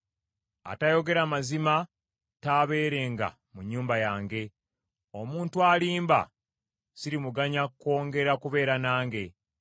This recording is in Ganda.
Atayogera mazima taabeerenga mu nnyumba yange. Omuntu alimba sirimuganya kwongera kubeera nange.